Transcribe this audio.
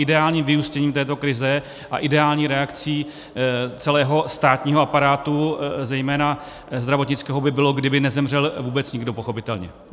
Ideálním vyústěním této krize a ideální reakcí celého státního aparátu, zejména zdravotnického, by bylo, kdyby nezemřel vůbec nikdo, pochopitelně.